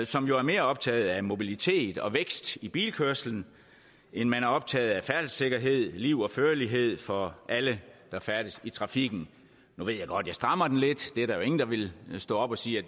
som jo er mere optaget af mobilitet og vækst i bilkørslen end man er optaget af færdselssikkerhed liv og førlighed for alle der færdes i trafikken nu ved jeg godt jeg strammer den lidt det er der jo ingen der vil stå op og sige